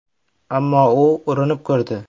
Ammo u urinib ko‘rdi.